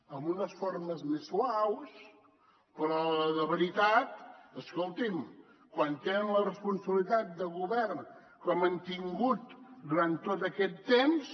amb unes formes més suaus però a l’hora de la veritat escolti’m quan tenen la responsabilitat de govern com han tingut durant tot aquest temps